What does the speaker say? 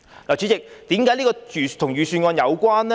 主席，為何這與預算案有關呢？